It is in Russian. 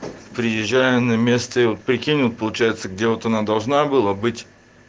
приезжаю на место и вот прикинь вот получается где вот она должна была быть